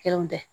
Kelenw bɛɛ